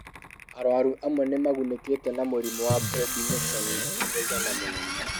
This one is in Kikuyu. Arũaru amwe nĩ magunĩkĩte nĩ mũrimũ wa prednisone wa mũigana mũnene.